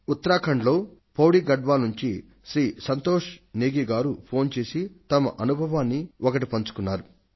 ఉత్తరాఖండ్ లో పౌడీ గడ్వాల్ నుండి శ్రీ సంతోష్ నేగీ ఫోన్ చేసి తన అనుభవమొకటి పంచుకొన్నారు